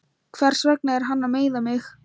Hversvegna er hann að meiða mig?